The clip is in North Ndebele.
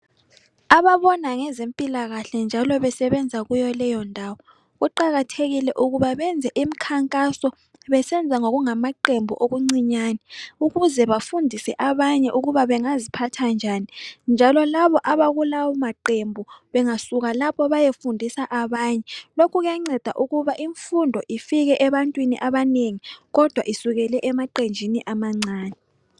Ababona ngezempilalakahle njalo besebenza kuyo leyondawo, kuqakathekile ukuba benze imkhankaso, besenza ngokungamaqembu okuncinyane, ukuze bafundise abanye ukuba bengaziphatha njani, njalo labo abakulawo maqembu bengasuka lapho bayefundisa abanye. Lokhu kuyanceda ukuba imfundo ifike ebantwini abanengi kodwa isukele emaqenjini amancane.